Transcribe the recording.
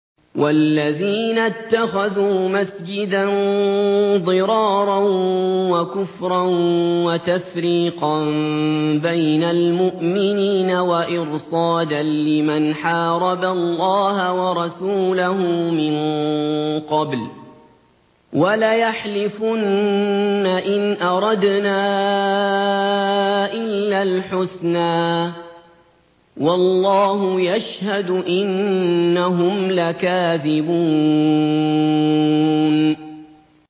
وَالَّذِينَ اتَّخَذُوا مَسْجِدًا ضِرَارًا وَكُفْرًا وَتَفْرِيقًا بَيْنَ الْمُؤْمِنِينَ وَإِرْصَادًا لِّمَنْ حَارَبَ اللَّهَ وَرَسُولَهُ مِن قَبْلُ ۚ وَلَيَحْلِفُنَّ إِنْ أَرَدْنَا إِلَّا الْحُسْنَىٰ ۖ وَاللَّهُ يَشْهَدُ إِنَّهُمْ لَكَاذِبُونَ